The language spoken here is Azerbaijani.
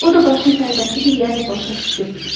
O da başını tərpətdi ki, yəni başa düşdüm.